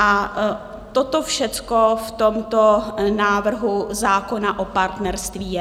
A toto všecko v tomto návrhu zákona o partnerství je.